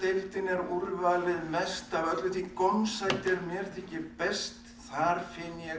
er úrvalið mest af öllu því gómsæti er mér þykir best þar finn ég